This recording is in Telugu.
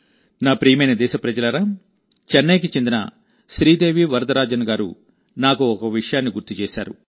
నా ప్రియమైన దేశప్రజలారా చెన్నైకి చెందిన శ్రీదేవి వరదరాజన్ గారు నాకు ఒక విషయాన్ని గుర్తు చేశారు